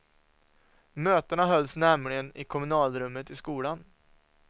Mötena hölls nämligen i kommunalrummet i skolan.